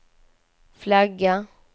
flagga